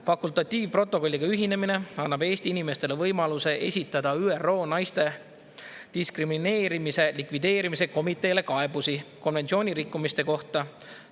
Fakultatiivprotokolliga ühinemine annab Eesti inimestele võimaluse esitada ÜRO naiste diskrimineerimise likvideerimise komiteele kaebusi konventsiooni rikkumiste kohta.